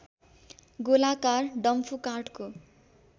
गोलाकार डम्फु काठको